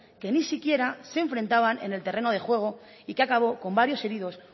que ni siquiera se enfrentaban en el terreno de juego y que acabó con varios heridos